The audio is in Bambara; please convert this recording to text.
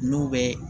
N'u bɛ